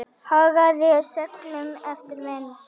Hagaði seglum eftir vindi.